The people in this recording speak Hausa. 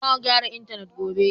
Za a gyara intanet gobe.